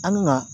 An ka